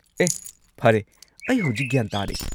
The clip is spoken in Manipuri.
ꯑꯦꯍ ꯐꯔꯦ, ꯑꯩ ꯍꯧꯖꯤꯛ ꯒ꯭ꯌꯥꯟ ꯇꯥꯔꯦ꯫